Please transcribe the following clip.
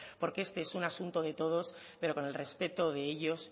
porque este es un asunto de todos pero con el respeto de ellos